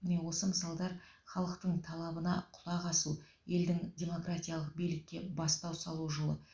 міне осы мысалдар халықтың талабына құлақ асу елдің демократиялық билікке бастау салу жолы